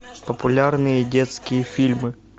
популярные детские фильмы